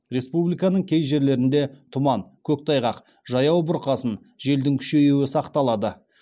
республиканың кей жерлерінде тұман көктайғақ жаяу бұрқасын желдің күшейюі сақталады